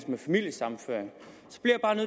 med familiesammenføring